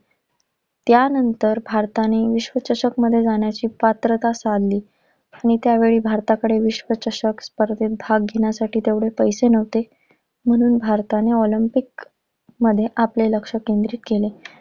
त्यानंतर भारताने विश्वचषकमध्ये जाण्याची पात्रता मिळवली. पण त्यावेळी भारताकडे विश्वचषक स्पर्धेत भाग घेण्यासाठी तेवढे पैसे नव्हते, म्हणून भारताने ऑलिम्पिकमध्ये आपले लक्ष केंद्रित केले.